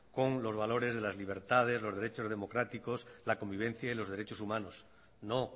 con los valores de las libertades los derechos democráticos la convivencia y los derechos humanos no